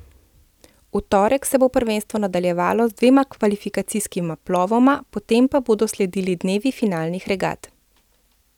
V torek se bo prvenstvo nadaljevalo z dvema kvalifikacijskima plovoma, potem pa bodo sledili dnevi finalnih regat.